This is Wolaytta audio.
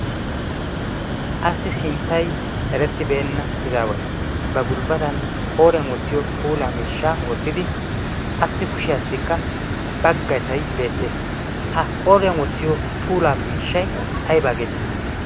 Assi sinttay erettibeenna. Ha izaaway ba gulbbatan qooriyan wottiyo puula miishshaa wottidi assi kushiyaassikka baggasay beettees. Ha qooriyan wottiyo puula miishshay aybaa geeteetti?